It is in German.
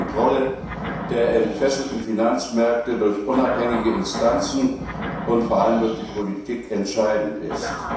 Kontrolle der entfesselten Finanzmärkte durch unabhängige Instanzen und vor allem durch die Politik entscheidend ist.